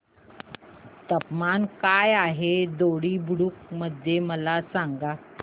तापमान काय आहे दोडी बुद्रुक मध्ये मला सांगा